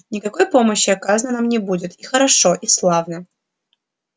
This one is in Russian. никакой помощи оказано нам не будет и хорошо и славно